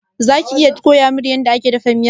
Zaka iya koyamin yanda ake dafa miyar?